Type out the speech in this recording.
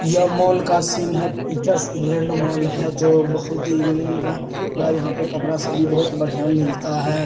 यह मॉल का सीन है पीटर इंग्लैंड मॉल है जो बहुत ही इंग्लैंड का यहाँ पे कपड़ा सब भी बहुत बढ़िया मिलता है।